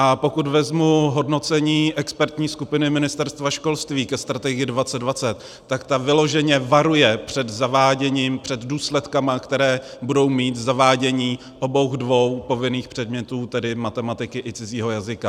A pokud vezmu hodnocení expertní skupiny Ministerstva školství ke Strategii 2020, tak ta vyloženě varuje před zaváděním, před důsledky, které budou mít zavádění obou dvou povinných předmětů, tedy matematiky i cizího jazyka.